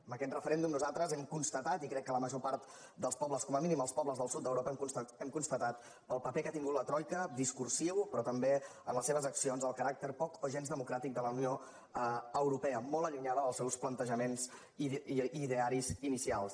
amb aquest referèndum nosaltres hem constatat i crec que la major part dels pobles com a mínim els pobles del sud d’europa el paper que ha tingut la troica discursiu però també en les seves accions el caràcter poc o gens democràtic de la unió europea molt allunyada dels seus plantejaments i idearis inicials